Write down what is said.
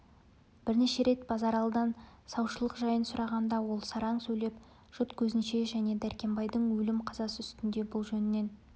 бірнеше рет базаралыдан саушылық жайын сұрағанда ол сараң сөйлеп жұрт көзінше және дәркембайдың өлім қазасы үстінде бұл жөннен